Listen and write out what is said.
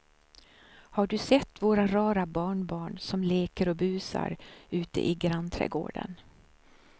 Har du sett våra rara barnbarn som leker och busar ute i grannträdgården!